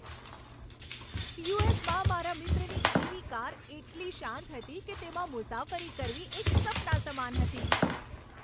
યુ.એસ.માં મારા મિત્રની EV. Car એટલી શાંત હતી કે તેમાં મુસાફરી કરવી એક સપના સમાન હતી.